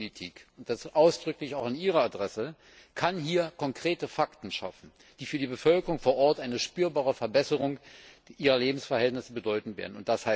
Handelspolitik und das ausdrücklich auch an Ihre Adresse kann hier konkrete Fakten schaffen, die für die Bevölkerung vor Ort eine spürbare Verbesserung ihrer Lebensverhältnisse bedeuten werden.